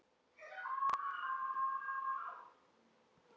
Myndir úr æsku.